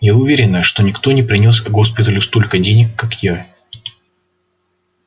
я уверена что никто не принёс госпиталю столько денег как я